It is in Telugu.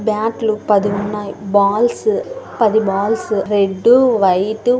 బ్యాట్ లు పది ఉన్నాయి. బాల్స్ పది బాల్స్ రెడ్ వైట్ --